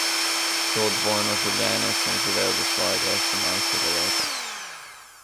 To dvojno življenje sem živel do svojega osemnajstega leta.